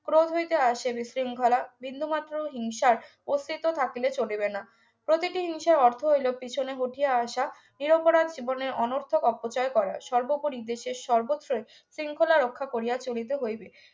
ক্রোধ হইতে আসেনি শৃঙ্খলা বিন্দুমাত্র হিংসার অস্তিত্ব থাকিলে চলিবে না প্রতিটি হিংসার অর্থ হইলো পিছনে হটিয়া আসা নিরপরাধ জীবনের অনর্থক অপচয় করার সর্বোপরি দেশের সর্বত্রই শৃঙ্খলা রক্ষা করিয়া চলিতে হইবে